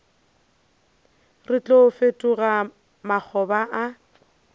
re tlo fetoga makgoba a